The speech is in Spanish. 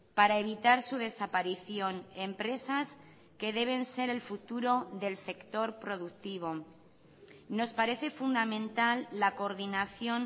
para evitar su desaparición empresas que deben ser el futuro del sector productivo nos parece fundamental la coordinación